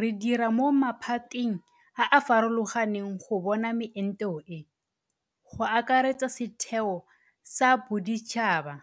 Re dira mo maphateng a a farologang go bona meento e, go akaretsa setheo sa boditšhaba